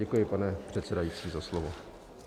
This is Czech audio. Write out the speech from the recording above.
Děkuji, pane předsedající, za slovo.